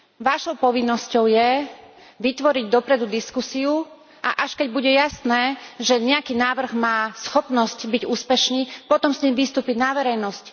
Vašou povinnosťou je vytvoriť dopredu diskusiu a až keď bude jasné, že nejaký návrh má schopnosť byť úspešný, potom s ním vystúpiť na verejnosť.